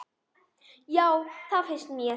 Já, það finnst mér.